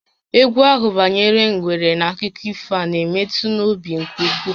Égwú ahụ banyere ngwere n'akụkọ ifo a na-emetụ n'obi nke ukwuu